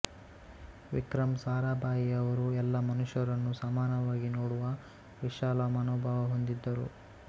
ವಿಕ್ರಮ್ ಸಾರಾಭಾಯಿಯವರು ಎಲ್ಲಾ ಮನುಷ್ಯರನ್ನೂ ಸಮಾನವಾಗಿ ನೋಡುವ ವಿಶಾಲ ಮನೋಭಾವ ಹೊಂದಿದ್ದರು